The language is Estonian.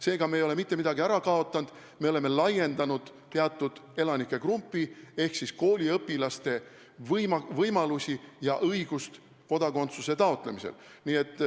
Seega me ei ole mitte midagi ära kaotanud, me oleme laiendanud teatud elanike grupi ehk siis kooliõpilaste võimalusi ja õigust kodakondsuse taotlemisel.